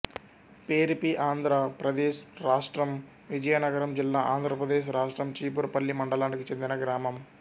పేరిపిఆంధ్ర ప్రదేశ్ రాష్ట్రం విజయనగరం జిల్లాఆంధ్ర ప్రదేశ్ రాష్ట్రం చీపురుపల్లి మండలానికి చెందిన గ్రామం